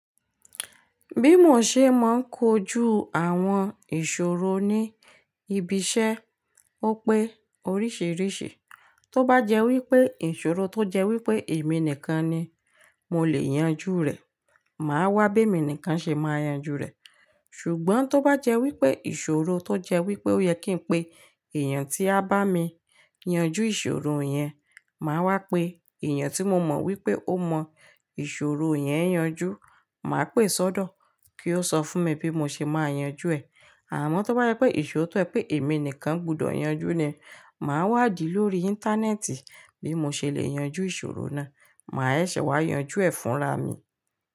Bí mo ṣe máa ń kojú àwọn ìṣòro ní ibi iṣẹ́ ó pé oríṣìíríṣìí. Tó bá jẹ́ wípé ìṣòro tó jẹ́ wípé èmi nìkan ni mo lè yanjú rẹ̀, màá wá béè mi nìkan ṣe máa yanjú rẹ̀. Ṣùgbọ́n tó bá jẹ́ wípé ìṣòro tó jẹ́ wípé ó yẹ kí n pe èèyàn tí a bá mi yanjú ìṣòro yẹn, màá wá pe èèyàn tí mo mọ̀ wípé ó mọ ìṣòro yẹn yanjú, màá pè sọ́dọ̀ kí ó sọ fún mi bí mo ṣe máa yanjú ẹ̀. Àmọ́ tó bá jẹ́ pé ìṣòro tó jẹ́ pé èmi nìkan gbọdọ̀ yanjú ni, màá wádìí lórí Íńtánẹ́ẹ̀tì bí mo ṣe le yanjú ìṣòro náà, màá ṣẹ̀ wá yanjú ẹ̀ fúnra mi.